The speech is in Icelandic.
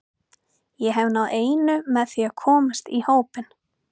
Ég hef náð einu með því að komast í hópinn.